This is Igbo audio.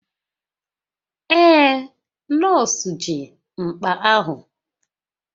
Ee, nọọsụ ji mkpa ahụ